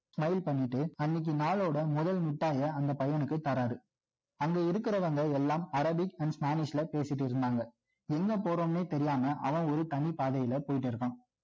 try பண்ணிட்டு அன்னைக்கு நாளோட முதல் மிட்டாய அந்த பையனுக்கு தராறு அங்க இருக்கிறவங்க எல்லாம் அரேபிக் and spanish ல பேசிட்டு இருந்தாங்க எங்க போறோம்னே தெரியாம அவன் ஒரு தனி பாதையில போயிட்டு இருக்கான்